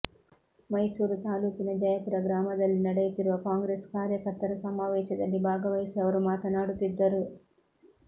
ಮೈಸೂರು ತಾಲೂಕಿನ ಜಯಪುರ ಗ್ರಾಮದಲ್ಲಿ ನಡೆಯುತ್ತಿರುವ ಕಾಂಗ್ರೆಸ್ ಕಾರ್ಯಕರ್ತರ ಸಮಾವೇಶದಲ್ಲಿ ಭಾಗವಹಿಸಿ ಅವರು ಮಾತನಾಡುತ್ತಿದ್ದರು